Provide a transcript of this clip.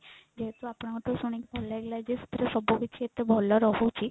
ଯେହେତୁ ଆପଣଙ୍କ ଠୁ ଶୁଣିକି ଭଲ ଲାଗିଲା ଯେ ସବୁକିଛି ଏତେ ଭଲ ରହୁଛି